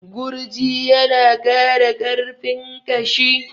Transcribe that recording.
Gurji ya na ƙara ƙarfin ƙashi